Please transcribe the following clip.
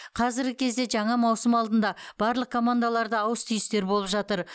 қазіргі кезде жаңа маусым алдында барлық командаларда ауыс түйістер болып жатыр